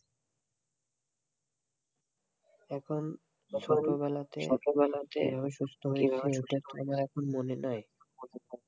এখন ছোটো বেলাতে ছোটো বেলাতে এভাবে সুস্থ এভাবে সুস্থ হয়ে মনে নাই এখন তো মনে নাই,